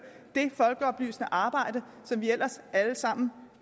det folkeoplysende arbejde som vi ellers alle sammen